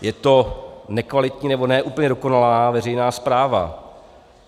Je to nekvalitní nebo ne úplně dokonalá veřejná správa.